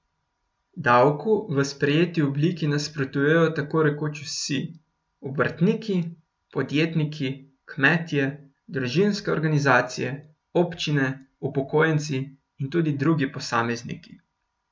Davku v sprejeti obliki nasprotujejo tako rekoč vsi, obrtniki, podjetniki, kmetje, družinske organizacije, občine, upokojenci in tudi drugi posamezniki.